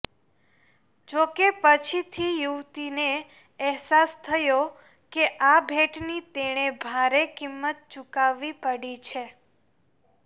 જો કે પછીથી યુવતીને અહેસાસ થયો કે આ ભેટની તેણે ભારે કિંમત ચુકવવી પડી છે